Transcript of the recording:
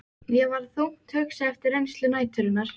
Ég var þungt hugsi eftir reynslu næturinnar.